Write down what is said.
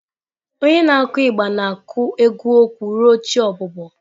Onye na-akụ igba na-akụ egwu okwu ruo chi ọbụbọ.